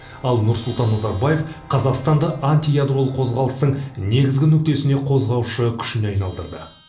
ал нұрсұлтан назарбаев қазақстанды антиядролық қозғалыстың негізгі нүктесіне қозғаушы күшіне айналдырды